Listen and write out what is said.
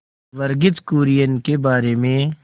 वर्गीज कुरियन के बारे में